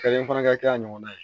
fana ka kɛ a ɲɔgɔnna ye